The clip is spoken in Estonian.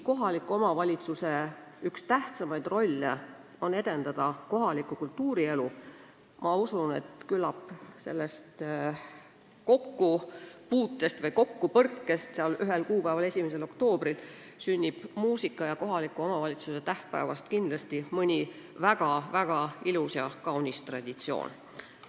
Kohaliku omavalitsuse tähtsaimaid rolle on ju edendada kultuurielu ja küllap sellest kokkupuutest ühel kuupäeval, 1. oktoobril sünnib muusika ja kohaliku omavalitsuse tähtpäeva tähistades mõni väga-väga ilus ja kaunis traditsioon.